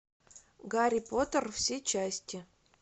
гарри поттер все части